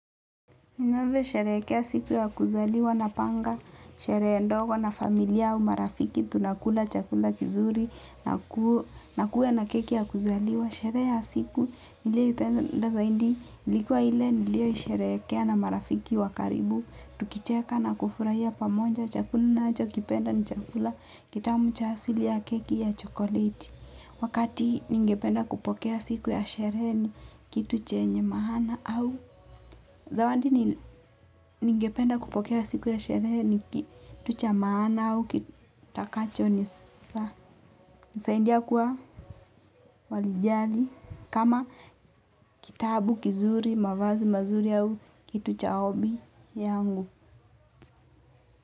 Ninavyo sherehekea siku ya kuzaliwa na panga, sherehe ndogo na familia au marafiki tunakula chakula kizuri na kuwe na keki ya kuzaliwa. Sherehe ya siku niliyoipenda zaidi ilikua ile niliyo isherehekea na marafiki wa karibu. Tukicheka na kufurahia pamoja chakula na chakula kitamu cha asili ya keki ya chokoleti. Wakati ningependa kupokea siku ya sherehe ni kitu chenye maana au zawadi ningependa kupokea siku ya sherehe ni kitu cha maana au kitakacho nisaidia kuwa walijali. Kama kitabu kizuri mavazi mazuri au kitu cha ombi yangu.